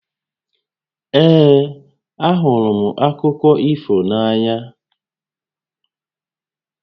Ee, a hụrụ m akụkọ ifo na-ànyà